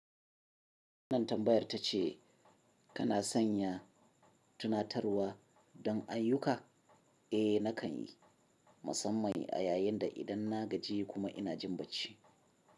Wannan tambayar ta ce kana sanya tunatarwa don ayyuka? Eh nakan yi, musamman a yayin da idan na gaji kuma ina jin bacci.